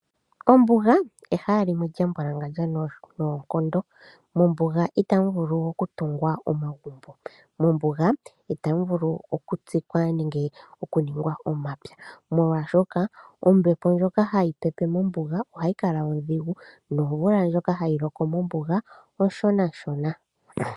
Ombuga ehala limwe lya mbwalangandja noonkondo. Mombuga ita mu vulu oku tungwa omagumbo, mombuga ita mu vulu oku tsikwa nenge oku ningwa omapya molwa shoka ombepo ndjoka hayi pepe mombuga ohayi kala odhigu nomvula ndjoka hayi loko mombuga oshonashona.